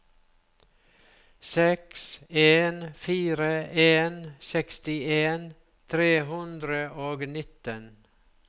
seks en fire en sekstien tre hundre og nitten